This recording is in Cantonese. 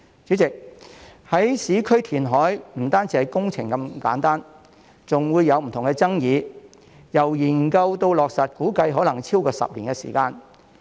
主席，市區填海不單是工程的問題這麼簡單，還會有不同的爭議，由研究到落實估計可能超過10年時間。